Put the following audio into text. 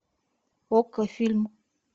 окко фильм